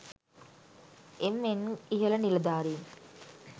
එම් N ඉහල නිළධාරීන්